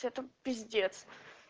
у тебя там пиздец